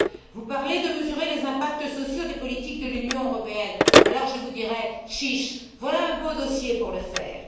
Vous parlez de mesurer les impacts sociaux des politiques de l'Union européenne. Alors je vous dirai chiche, voilà un beau dossier pour le faire!